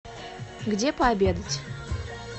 где пообедать